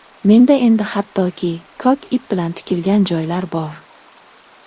Menda endi hattoki, ko‘k ip bilan tikilgan joylar bor.